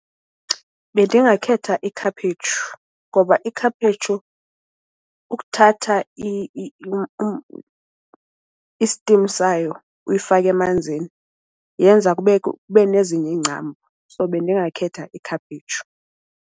Bendingakhetha ikhaphetshu ngoba ikhaphetshu ukuthatha i-steam sayo uyifake emanzini yenza kube nezinye iingcambu. So, bendingakhetha ikhaphetshu.